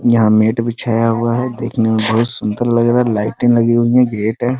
यहाँ मेट बिछाया हुआ है देखने में बहुत सुन्दर लग रहा है लाइटे लगी हुई है गेट है।